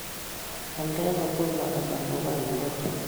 Alde kotomo anan kokaibor